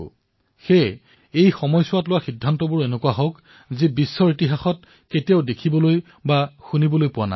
সেয়ে এই সময়ছোৱাত এনে কিছুমান সিদ্ধান্ত গ্ৰহণ কৰা হৈছে যি পূৰ্বতে দেখিবলৈও পোৱা নাই অথবা শুনিবলৈও পোৱা নাই